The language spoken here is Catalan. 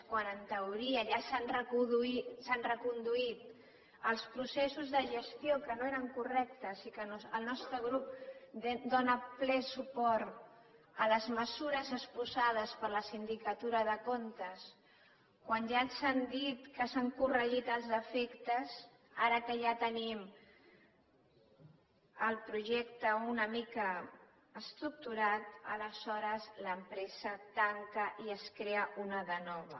quan en teoria ja s’han reconduït els processos de gestió que no eren correctes i que el nostre grup dóna ple suport a les mesures exposades per la sindicatura de comptes quan ja ens han dit que s’han corregit els defectes ara que ja tenim el projecte una mica estructurat aleshores l’empresa tanca i se’n crea una de nova